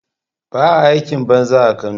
Baa aikin banza a Kano